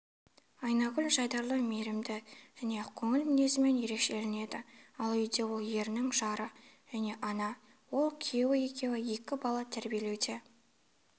айнагүл жайдарлы мейірімді және ақкөңіл мінезімен ерекшеленеді ал үйде ол ерінің жары және ана ол күйеуі екеуі екі бала тәрбиелеуде